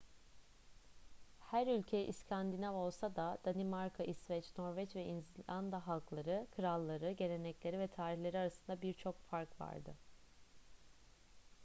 her ülke 'i̇skandinav' olsa da danimarka i̇sveç norveç ve i̇zlanda halkları kralları gelenekleri ve tarihleri arasında birçok fark vardı